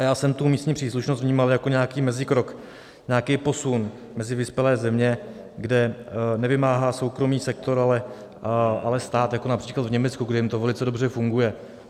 A já jsem tu místní příslušnost vnímal jako nějaký mezikrok, nějaký posun mezi vyspělé země, kde nevymáhá soukromý sektor, ale stát, jako například v Německu, kde jim to velice dobře funguje.